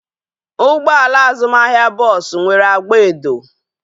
Ụgbọala azụmahịa bọọsu nwere agba edo